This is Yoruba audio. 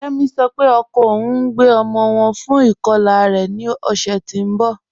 Kẹmi sọ́ pé ọkọ ọun ń gbẹ ọmọ wọn fún ikọla rẹ̀ ní ọ̀ṣẹ́ tì n bọ́.